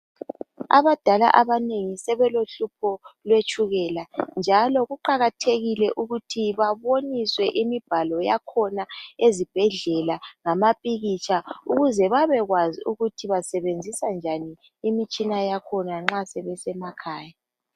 Abadala abanengi sebelohlupho lwetshukela njalo kuqakathekile ukuthi baboniswe imibhalo yakhona ezibhedlela lamapikitsha ukuze babekwazi ukuthi basebenzisa njani imitshina yakhona nxa sebesemakhaya.